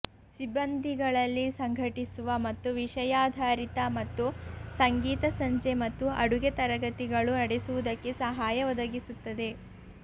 ಸಿಬ್ಬಂದಿಗಳಲ್ಲಿ ಸಂಘಟಿಸುವ ಮತ್ತು ವಿಷಯಾಧಾರಿತ ಮತ್ತು ಸಂಗೀತ ಸಂಜೆ ಮತ್ತು ಅಡುಗೆ ತರಗತಿಗಳು ನಡೆಸುವುದಕ್ಕೆ ಸಹಾಯ ಒದಗಿಸುತ್ತದೆ